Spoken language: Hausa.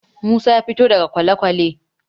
Musa ya fito daga kwalekwale.